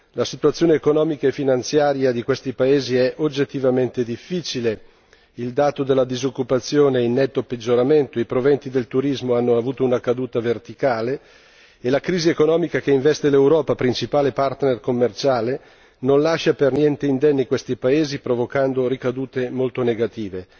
La situazione economica e finanziaria di questi paesi è oggettivamente difficile, il dato della disoccupazione è in netto peggioramento, i proventi del turismo hanno avuto una caduta verticale e la crisi economica che investe l'Europa, principale partner commerciale, non lascia per niente indenni questi paesi provocando ricadute molto negative.